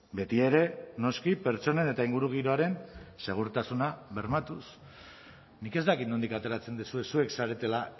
betiere noski pertsonen eta ingurugiroaren segurtasuna bermatuz nik ez dakit nondik ateratzen duzue zuek zaretela